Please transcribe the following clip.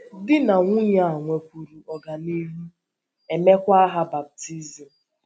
Di na nwunye a nwekwuru ọganihu, e meekwa ha baptizim.